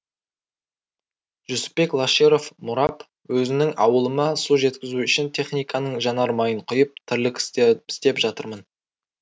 жүсіпбек лаширов мұрап өзімнің ауылыма су жеткізу үшін техниканың жанармайын құйып тірлік істеп жатырмын